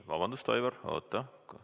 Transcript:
Vabandust, Aivar, oota!